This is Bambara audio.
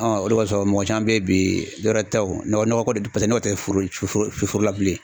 o de b'a sɔrɔ mɔgɔ caman be yen bi dɔwɛrɛ tɛ o nɔkɔ de paseke n'o tɛ fo fo foro la bilen.